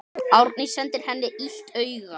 Árný sendir henni illt auga.